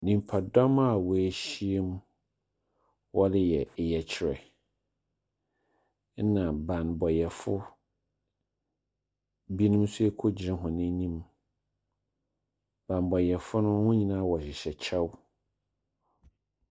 Nnipa dɔm a woahyiam, wɔreyɛ yɛkyerɛ. Ɛna banbɔfo bi nom nso kogyina wɔn anim. Banbɔfo no wɔn nyinaa wɔhyehyɛ kyɛw.